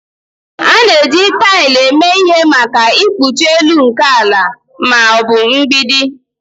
A na-eji taịl eme ihe maka ikpuchi elu nke ala ma ọ bụ mgbidi